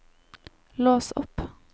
lås opp